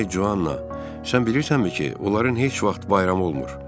Ay Joana, sən bilirsənmi ki, onların heç vaxt bayramı olmur?